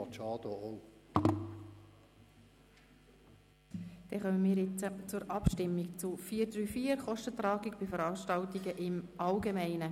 Dannkommen wir jetzt zur Abstimmung zu 4.3.4 Kostentragung bei Veranstaltungen im Allgemeinen.